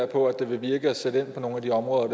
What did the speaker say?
på at det vil virke at sætte ind på nogle af de områder